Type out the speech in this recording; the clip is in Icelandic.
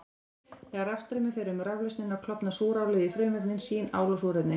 Þegar rafstraumur fer um raflausnina klofnar súrálið í frumefni sín, ál og súrefni.